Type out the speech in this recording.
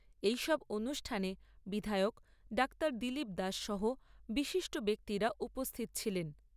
এই সব অনুষ্ঠানে বিধায়ক ডাক্তার দিলীপ দাস সহ বিশিষ্ট ব্যক্তিরা উপস্থিত ছিলেন।